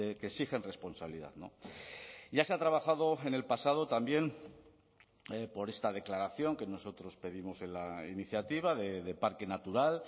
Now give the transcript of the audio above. que exigen responsabilidad ya se ha trabajado en el pasado también por esta declaración que nosotros pedimos en la iniciativa de parque natural